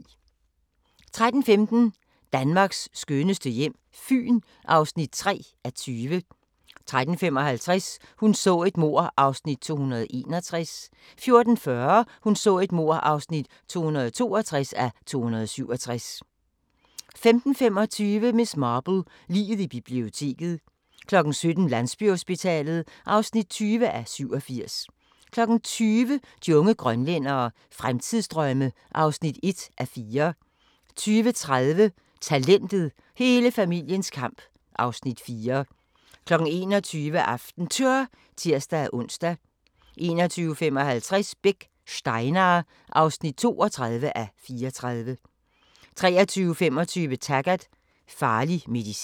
13:15: Danmarks skønneste hjem - Fyn (3:20) 13:55: Hun så et mord (261:267) 14:40: Hun så et mord (262:267) 15:25: Miss Marple: Liget i biblioteket 17:00: Landsbyhospitalet (20:87) 20:00: De unge grønlændere – Fremtidsdrømme (1:4) 20:30: Talentet – hele familiens kamp (Afs. 4) 21:00: AftenTour (tir-ons) 21:55: Beck: Steinar (32:34) 23:25: Taggart: Farlig medicin